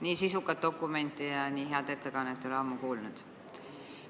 Nii sisukat dokumenti ja nii head ettekannet ei ole ammu olnud.